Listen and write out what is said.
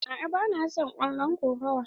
A'a ba na son kallon kokawa.